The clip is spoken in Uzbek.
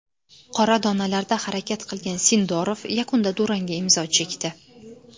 Qora donalarda harakat qilgan Sindorov yakunda durangga imzo chekdi.